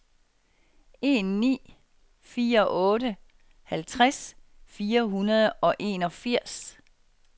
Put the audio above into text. en ni fire otte halvtreds fire hundrede og enogfirs